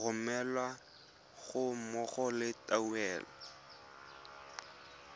romelwa ga mmogo le tuelo